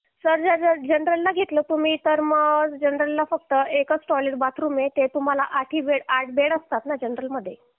sir जर general घेतलं तुम्ही तर जनरलला मग एकच टॉयलेट बाथरूम आहे ते तुम्हाला आठ बेड असतात ना जनरल मध्ये